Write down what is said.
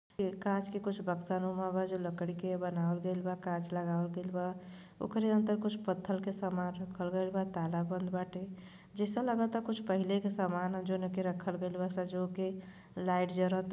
ये कांच के कुछ बक्शा नुमा जो लकड़ी के बनवाल गइल बा। कांच लगावल गइल बा ओकरे अंदर कुछ पत्थर का सामान रखल गइल बा। ताला बंद बाटे। जैसे लगता कि कुछ पहले का सामान जोवने के रखल गइल बा संजो के लाइट जरता।